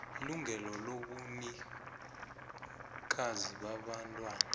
ilungelo lobunikazi babantwana